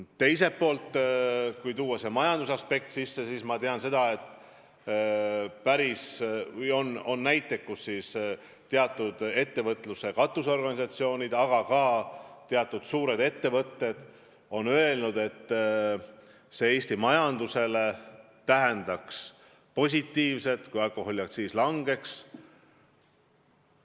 Teiselt poolt, kui arvestada majanduse huve, siis ma tean, et teatud ettevõtluse katusorganisatsioonid, aga ka mõned suured ettevõtted on seisukohal, et Eesti majandusele mõjuks hästi, kui alkoholiaktsiis langeks.